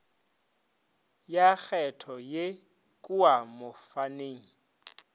ya kgetho ye kua mofaning